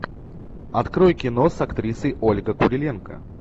открой кино с актрисой ольга куриленко